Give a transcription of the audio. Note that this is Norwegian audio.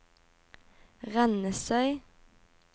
Rennesøy